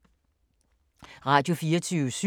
Radio24syv